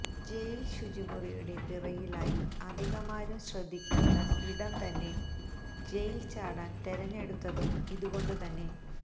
ജയില് ശുചിമുറിയുടെ പിറകിലായി അധികമാരും ശ്രദ്ധിക്കാത്ത ഇടം തന്നെ ജയില് ചാടാന് തെരഞ്ഞെടുത്തതും ഇത് കൊണ്ട് തന്നെ